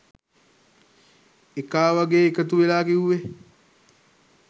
එකා වගේ එකතුවෙලා කිව්වේ